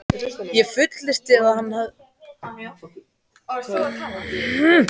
Ég fullyrti, að hann hefði rangt fyrir sér.